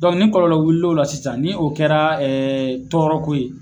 ni kɔlɔlɔ wulila o la sisan ni o kɛra tɔɔrɔko ye